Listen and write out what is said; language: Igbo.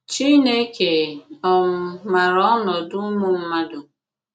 CHINEKE um màrà ọnọdụ ùmụ̀ mmàdù..